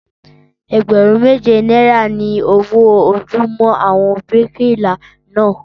Ẹgbẹ̀rún méje náírà ni owó ojúmọ́ àwọn bíríkìlà náà